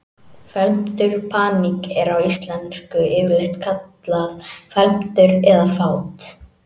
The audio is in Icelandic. Felmtur Paník er á íslensku yfirleitt kallað felmtur eða fát.